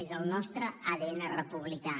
és el nostre adn republicà